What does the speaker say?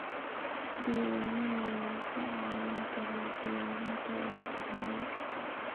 Diiwaanada ayaa kaa caawin kara diyaarinta warbixinnada.